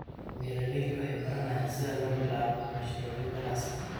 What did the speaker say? Beeraleydu waxay baranayaan sida loo bilaabo mashruucyo ganacsi.